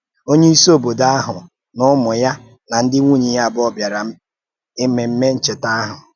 Onyeisi òbòdò ahụ̀ na ụmụ́ ya na ndị nwùnyè ya abụọ bịàrā Ememe Ncheta ahụ̀.